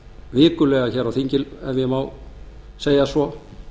vikulega hér á þinginu ef ég má segja svo